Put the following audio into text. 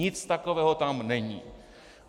Nic takového tam není.